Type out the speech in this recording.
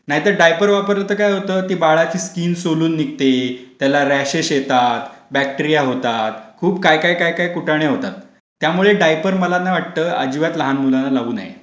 नाहीतर डायपर वापरला तर काय होतं, बाळाची स्कीन सोलून निघते, त्याला रशेस येतात, बॅक्टीरिया होतात, खूप काय काय काय काय कुटणे होतात, त्यामुळे डायपर मला ना वाटतं की अजिबात लहान मुलांना लाऊ नये,